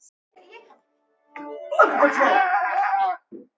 Þar á meðal þessir